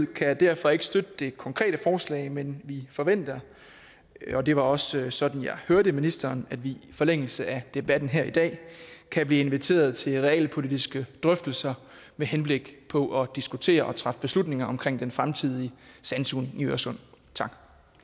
kan derfor ikke støtte det konkrete forslag men vi forventer og det var også sådan jeg hørte ministeren at vi i forlængelse af debatten her i dag kan blive inviteret til realpolitiske drøftelser med henblik på at diskutere og træffe beslutninger omkring den fremtidige sandsugning i øresund tak